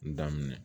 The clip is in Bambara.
N daminɛ